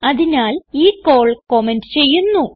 അതിനാൽ ഈ call comment ചെയ്യുന്നു